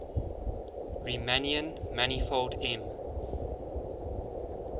riemannian manifold m